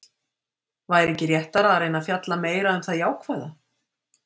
Væri ekki réttara að reyna að fjalla meira um það jákvæða?